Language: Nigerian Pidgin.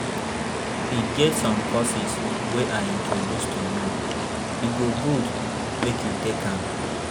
E get some courses wey I introduce to you, e go good make you take am